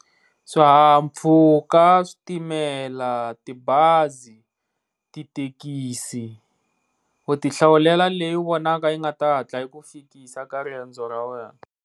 Swihaha-mpfhuka, switimela, tibazi, tithekisi u ti hlawulela leyi u vonaka yi nga ta hatla i ku fikisa ka riendzo ra wena.